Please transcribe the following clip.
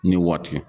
Ni waati